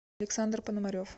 александр пономарев